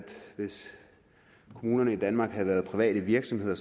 hvis kommunerne i danmark havde været private virksomheder